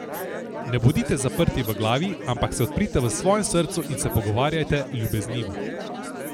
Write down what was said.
Ne bodite zaprti v glavi, ampak se odprite v svojem srcu in se pogovarjajte ljubeznivo.